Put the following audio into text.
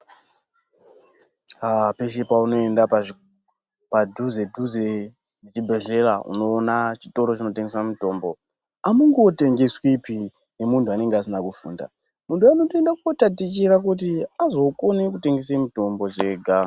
Aa pese paunoenda padhuzedhuze nechibhedhlera unoona chitoro chinotengesa mitombo. Amungotengeswipi ngemunthu anenga asina kufunda. Muntu anotoenda kotatichira kuti azokone kutengese mitombo zvega.